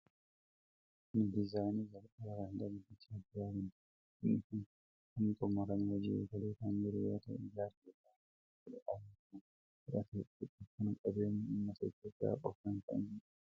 Kun dizaayinii jalqabaa kan hidha Guddicha Abbayyaa kan turedha. Hidhi kun amma xumuramee hojii egalee kan jiru yoo ta'u, ijaarsi isaa waggaa kudha afur kan fudhateedha. Hidhi kun qabeenya ummata Itoophiyaa qofaan kan ijaaramedha.